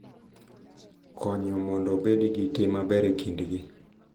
Konyo mondo obed gi tim maber e kindgi.